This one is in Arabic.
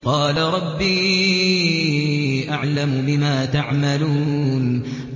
قَالَ رَبِّي أَعْلَمُ بِمَا تَعْمَلُونَ